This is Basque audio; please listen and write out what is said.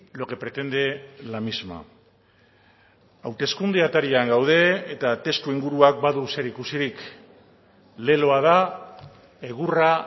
lo que pretende la misma hauteskunde atarian gaude eta testuinguruak badu zerikusirik leloa da egurra